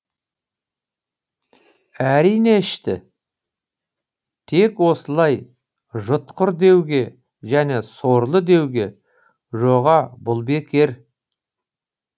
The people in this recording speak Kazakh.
әрине ішті тек осылай жұтқыр деуге және сорлы деуге жоға бұл бекер